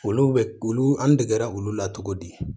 Olu bɛ olu an degera olu la cogo di